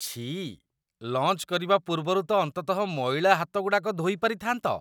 ଛିଃ! ଲଞ୍ଚ୍ କରିବା ପୂର୍ବରୁ ତ ଅନ୍ତତଃ ମଇଳା ହାତଗୁଡ଼ାକ ଧୋଇ ପାରିଥାନ୍ତ ।